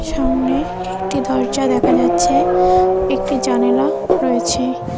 সামনে একটি দরজা দেখা যাচ্ছে একটি জানালা রয়েছে।